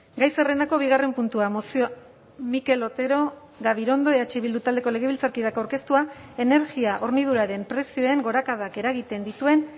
gai zerrendako bigarren puntua mozioa mikel otero gabirondo eh bildu taldeko legebiltzarkideak aurkeztua energia horniduraren prezioen gorakadak eragiten dituen